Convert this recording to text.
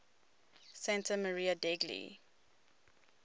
santa maria degli